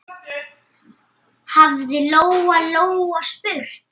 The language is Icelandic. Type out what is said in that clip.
hafði Lóa-Lóa spurt.